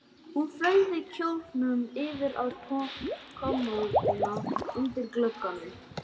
Hann fleygði kjólnum yfir á kommóðuna undir glugganum.